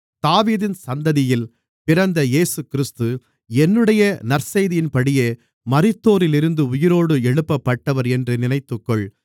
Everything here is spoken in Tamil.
தாவீதின் சந்ததியில் பிறந்த இயேசுகிறிஸ்து என்னுடைய நற்செய்தியின்படியே மரித்தோரிலிருந்து உயிரோடு எழுப்பப்பட்டவர் என்று நினைத்துக்கொள்